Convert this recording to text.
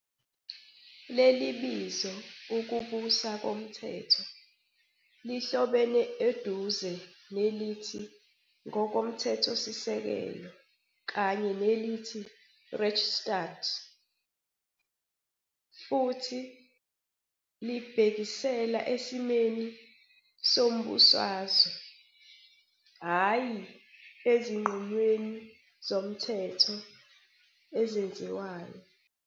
Leli bizo ukubusa komthetho lihlobene eduze nelithi ngokomthethosisekelo kanye nelithi "Rechtsstaat" futhi libhekisela esimweni sombusazwe, hhayi ezinqumweni zomthetho ezenziwayo.